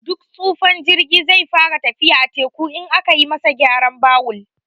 Duk tsufan jirgi zai fara tafiya a teku, in aka yi masa garan bawul.